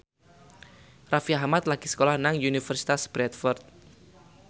Raffi Ahmad lagi sekolah nang Universitas Bradford